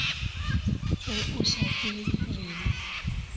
ge o sa kwe rena